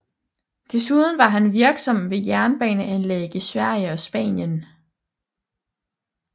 Desuden var han virksom ved jernbaneanlæg i Sverige og Spanien